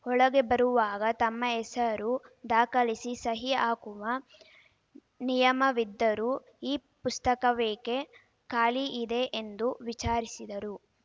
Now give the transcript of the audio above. ಒಳಗೆ ಬರುವಾಗ ತಮ್ಮ ಹೆಸರು ದಾಖಲಿಸಿ ಸಹಿ ಹಾಕುವ ನಿಯಮವಿದ್ದರೂ ಈ ಪುಸ್ತಕವೇಕೆ ಖಾಲಿ ಇದೆ ಎಂದು ವಿಚಾರಿಸಿದರು